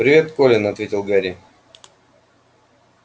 привет колин ответил гарри